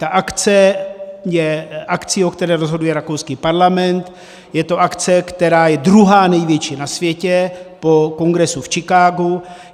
Ta akce je akcí, o které rozhoduje rakouský parlament, je to akce, která je druhá největší na světě po kongresu v Chicagu.